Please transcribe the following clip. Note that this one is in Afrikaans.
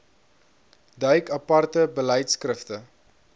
duik aparte beleidskrifte